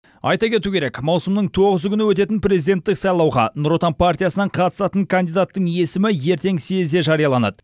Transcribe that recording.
айта кету керек маусымның тоғызы күні өтетін президенттік сайлауға нұр отан партиясынан қатысатын кандидаттың есімі ертең съезде жарияланады